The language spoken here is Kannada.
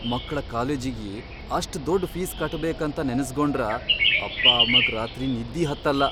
ಮಕ್ಳ ಕಾಲೇಜಿಗಿ ಅಷ್ಟ್ ದೊಡ್ಡ್ ಫೀಸ್ ಕಟ್ಟಬೇಕಂತ ನೆನಸ್ಗೊಂಡ್ರ ಅಪ್ಪಾಅಮ್ಮಗ್ ರಾತ್ರಿ ನಿದ್ದಿ ಹತ್ತಲ್ಲಾ.